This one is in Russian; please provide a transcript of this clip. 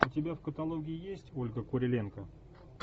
у тебя в каталоге есть ольга куриленко